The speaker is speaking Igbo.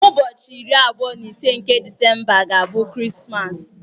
N'ụbọchị iri abụọ na ise nke Disemba ga-abụ Krismas.